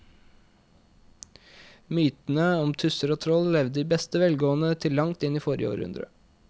Mytene om tusser og troll levde i beste velgående til langt inn i forrige århundre.